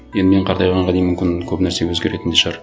енді мен қартайғанға дейін мүмкін көр нәрсе өзгеретін де шығар